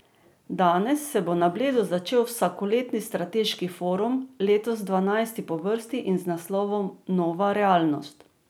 Danes se bo na Bledu začel vsakoletni strateški forum, letos dvanajsti po vrsti in z naslovom Nova realnost.